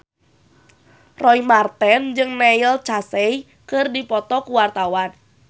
Roy Marten jeung Neil Casey keur dipoto ku wartawan